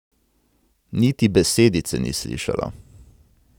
Niti besedice ni slišala.